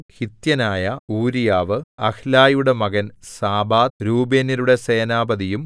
ഹിത്യനായ ഊരീയാവു അഹ്ലായിയുടെ മകൻ സാബാദ് രൂബേന്യരുടെ സേനാപതിയും